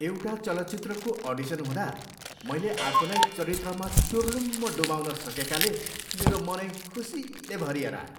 एउटा चलचित्रको अडिसन हुँदा मैले आफूलाई चरित्रमा चुर्लुम्म डुबाउँन सकेकाले मेरो मनै खुसीले भरिएर आयो।